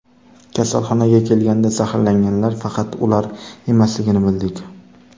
Kasalxonaga kelganda zaharlanganlar faqat ular emasligini bildik.